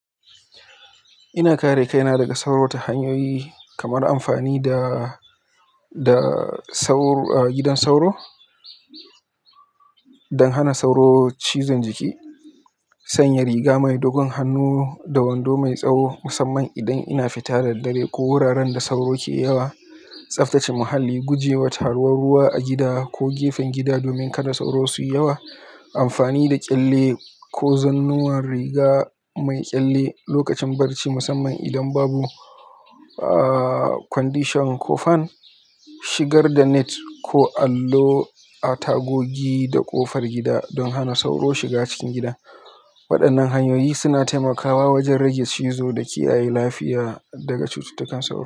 Ina kare kaina daga sauro ta hanyoyi kamar amfani da, da sauro, ah, gidan sauro don hana sauro cizon jiki, sanya riga mai dogon hannu da wando mai tsawo musamman idan ina fita da dare ko wuraren da sauro ke yawa, tsaftace muhalli, gujewa taruwar ruwa a gida ko gefen gida domin kada sauro suyi yawa, amfani da ƙyalle ko zannuwan riga mai ƙyalle lokacin barci musamman idan babu, aaah, condition ko fan, shigar da net ko allo a tagogi da ƙofar gida don hana sauro shiga cikin gida. Waɗannan hanyoyi suna taimakawa wajen rage cizo da kiyaye lafiya daga cututtukan sauro.